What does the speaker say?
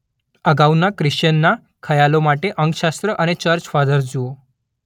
અગાઉના ક્રિશ્ચિયનના ખ્યાલો માટે અંકશાસ્ત્ર અને ચર્ચ ફાધર્સ જુઓ.